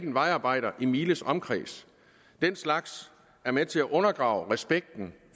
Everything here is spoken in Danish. en vejarbejder i miles omkreds den slags er med til at undergrave respekten